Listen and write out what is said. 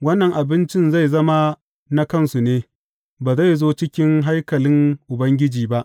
Wannan abincin zai zama na kansu ne; ba zai zo cikin haikalin Ubangiji ba.